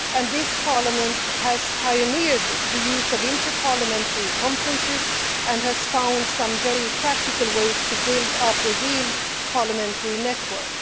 This Parliament has pioneered the use of inter parliamentary conferences and has found some very practical ways to build up a real parliamentary network.